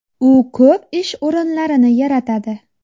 U ko‘p ish o‘rinlarini yaratadi.